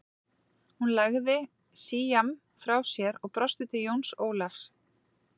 Hún lagði síamm frá sér og brosti til Jóns Ólafs.